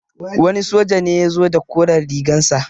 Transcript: Wani soja ne ya zo da koren rigar sa.